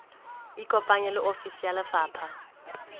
ikopanye le ofisi ya lefapha